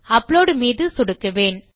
upload மீது சொடுக்குவேன்